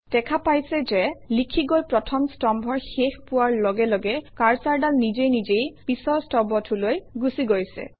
দেখা পাইছে যে লিখি গৈ প্ৰথম স্তম্ভৰ শেষ পোৱাৰ লগে লগে কাৰ্চৰডাল নিজে নিজেই পিছৰ স্তম্ভটোলৈ গুচি গৈছে